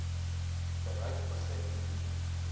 bereik begin hier